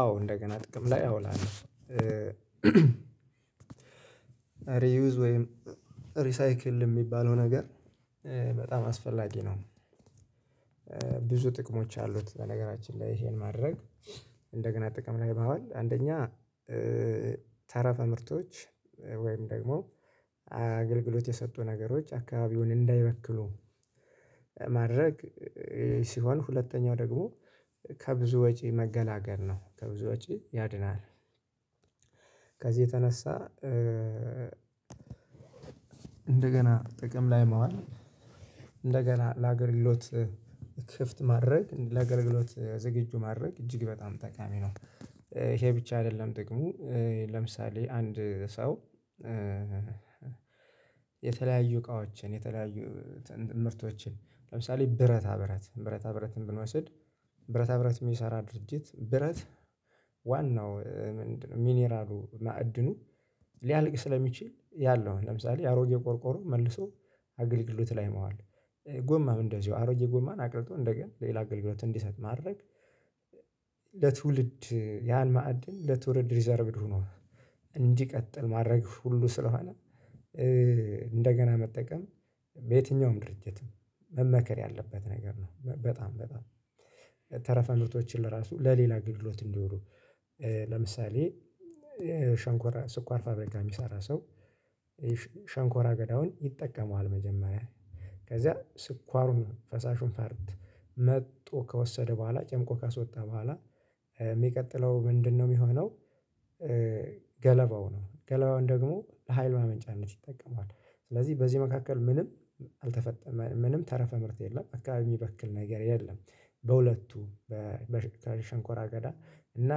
አዎ እንደገና ጥቅም ላይ አውላለሁ ሪዩዝ ወይም ሪሳይክል የሚባለው ነገር በጣም አስፈላጊ ነው። ብዙ ጥቅሞች አሉት። በነገራችን ላይ ይሄን ማድረግ እንደገና ጥቅም ላይ ማዋል አንደኛ ተረፈ ምርቶች ወይም ደግሞ አገልግሎት የሰጡ ነገሮች አካባቢውን እንዳይበክሉ ማድረግ ሲሆን ሁለተኛው ደግሞ ከብዙ ወጪ መገላገል ነው ከብዙ ወጪ ያድናል። ከዚህ የተነሳ እንደገና ጥቅም ላይ ማዋል እንደገና ለአገልግሎት ክፍት ማድረግ ለአግልግሎት ዝገጁ ማድረግ እጅግ በጣም ጠቃሚ ነው። ይሄ ብቻ አይደለም ጥቅሙ ለምሳሌ አንድ ሰው የተለያዩ እቃዎችን የተለያዩ ምርቶችን ለምሳሌ ብረታ ብረት ብረታ ብረትን ብንወስድ ብረታ ብረት የሚሰራ ድርጅት ብረት ዋናው ምንድ? ሚኒራሉ ማዕድኑ ሊያልቅ ስለሚችል ያለው ለምሳሌ አሮጌ ቆርቆሮ መልሶ አገልግሎት ላይ ማዋል ጎማም እንደዚሁ አሮጌ ጎማን አቅልጦ እንደገና ሌላ አገልግሎት እንዲሰጥ ማድረግ። ለትውልድ ያን ማዕድን ለትውልድ ሪዘርቭድ ሆኖ እንዲቀጥል ማድረግ ሁሉ ስለሆነ እንደገና መጠቀም በየትኛውም ድርጅትም መመከር ያለበት ነገር ነው። በጣም በጣም ተረፈ ምርቶችን ለራሱ ለሌላ አገልግሎት እንዲውሉ ለምሳሌ ሸንኮራ ስኳር ፋብሪካ የሚሰራ ሰው። ሸንኮራ አገዳውን ይጠቀመዋል መጀመሪያ ከዛ ስኳሩን ፈሳሹን ፈርት መጥቶ ከወሰደ በኋላ ጨምቆ ካስወጣ በኋላ የሚቀጥለው ምንድንነው የሚሆነው? ገለባው ነው ገለባውን ደግሞ ለኃይል ማመንጫነት ይጠቀመዋል። ስለዚህ በዚህ መካከል ምንም አልተፈጠመ ምንም ተረፈ ምርት የለም አካባቢ የሚበክል ነገር የለም። በሁለቱ በበሸ በሸንኮራ አገዳ እና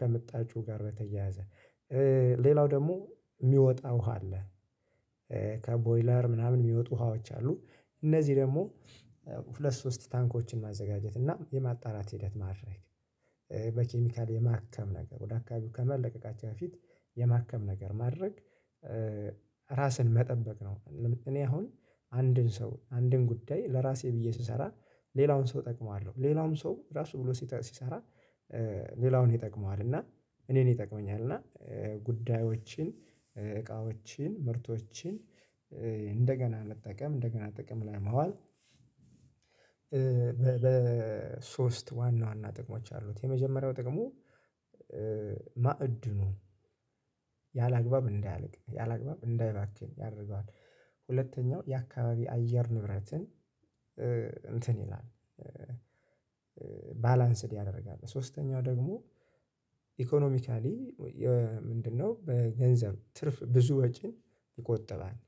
ከመጣጩ ጋር በተያያዘ ሌላው ደግሞ የሚወጣ ውሃ አለ። ከቦይለር ምናምን የሚወጡ ውሃዎች አሉ። እነዚህ ደግሞ ሁለት ሶስት ታንኮችን ማዘጋጀት እና የማጣራት ሂደት ማድረግ በኬሚካል የማከም ነገር ወደ አካባቢው ከመለቀቃቸው በፊት የማከም ነገር ማድረግ። ራስን መጠበቅ ነው። ለም እኔ አሁን አንድን ሰው አንድን ጉዳይ ለራሴ ብዬ ስሰራ ሌላውን ሰው እጠቅመዋለሁ። ሌላውም ሰው ራሱ ብሎ ሲጠ ሲሰራ ሌላውን ይጠቅመዋል። እና እኔን ይጠቅመኛል እና ጉዳዮችን እቃዎችን ምርቶችን እንደገና መጠቀም እንደገና ጥቅም ላይ ማዋል። በሶስት ዋና ዋና ጥቅሞች አሉት። የመጀመሪያው ጥቅሙ ማዕድኑ ያላግባብ እንዳያልቅ ያላግባብ እንዳይባክን ያደርገዋል። ሁለተኛው የአካባቢ አየር ንብረትን እንትን ይላል። ባላንስድ ያደርጋል። ሶስተኛው ደግሞ ኢኮኖሚካሊ የ ምንድንነው? በገንዘብ ትርፍ ብዙ ወጪን ይቆጥባል።